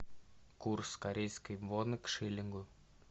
курс корейской воны к шиллингу